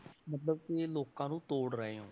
ਮਤਲਬ ਕਿ ਲੋਕਾਂ ਨੂੰ ਤੋੜ ਰਹੇ ਹੋ।